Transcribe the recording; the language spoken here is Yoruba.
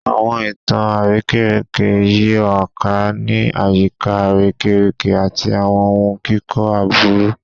Awọn itan arekereke yiraka ni ayika arekereke ati awọn ohun kikọ aburu